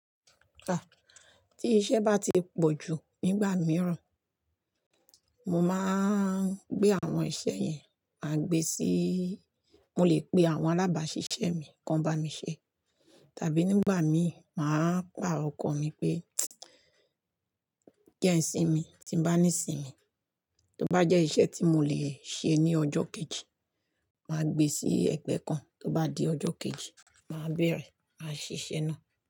Ka, tí iṣẹ́ bá ti pọ̀ jù nígbà mìíràn, mo máa ń gbé àwọn iṣẹ́ yẹn, mà gbe sí, mo lè pe àwọn alábàáṣiṣẹ́ mi kan bá mi ṣe. Tàbí nígbà mí, màá pa ọkọ̀ mi pé kí jẹ n sinmi, tí bá ní sinmi. Tó bá jẹ́ iṣẹ́ tí mo lè ṣe ní ọjọ́ kejì, mà gbe sí ẹgbẹ́ kan, tó bá di ọjọ́ kejì, màá bẹ̀rẹ̀ ṣiṣẹ́ náà.